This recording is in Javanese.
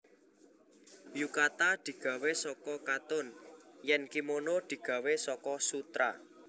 Yukata digawé saka katun yèn kimono digawé saka sutra